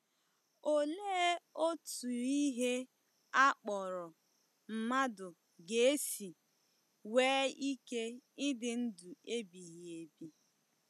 Olee otú ihe a kpọrọ mmadụ ga-esi nwee ike ịdị ndụ ebighị ebi?